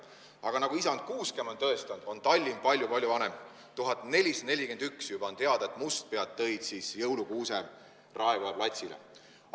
Aga nagu isand Kuuskemaa on tõestanud, on Tallinn palju-palju vanem, juba aastast 1441 on teada, et mustpead tõid jõulukuuse Raekoja platsile.